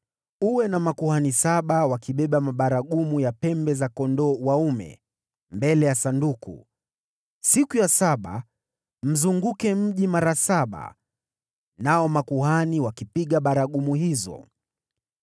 Uwe na makuhani saba wakibeba mabaragumu ya pembe za kondoo dume mbele ya Sanduku. Siku ya saba, mzunguke mji mara saba, nao makuhani wakipiga baragumu hizo.